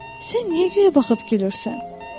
sən niyə göyə baxıb gülürsən?